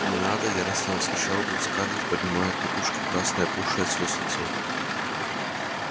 не надо яростно вскричала вдруг скарлетт поднимая от подушки красное опухшее от слёз лицо